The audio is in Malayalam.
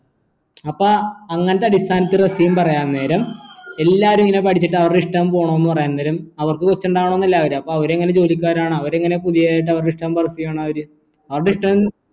അപ്പോ അങ്ങനത്തെ അടിസ്ഥാനത്തിൽ പറയാൻ നേരം എല്ലാരും ഇങ്ങനെ പഠിച്ചിട്ട് അവരുടെ ഇഷ്ടം പോണം ന്ന് പറയുന്നരം അവർക്ക് അപ്പൊ അവര് എങ്ങനെ ജോലിക്കാരാണ് അവര് എങ്ങനെ പുതിയെ അവരുടെ ഇഷ്ടം work ചെയ്യണത് അവര്